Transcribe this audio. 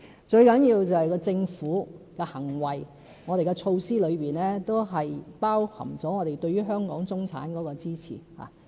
最重要的是政府的行為，我們的措施中包含了我們對於香港中產的支持。